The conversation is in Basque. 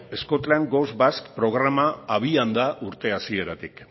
scotland goes basque programa abian da urte hasieratik